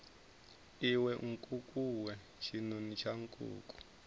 iwe nkukuwe tshinoni tsha nkuku